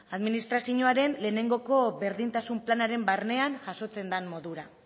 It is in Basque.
administrazioaren lehenengo berdintasun planaren barnean jasotzen den modura